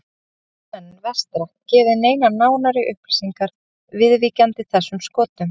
Ekki geta menn vestra gefið neinar nánari upplýsingar viðvíkjandi þessum skotum.